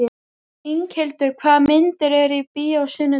Inghildur, hvaða myndir eru í bíó á sunnudaginn?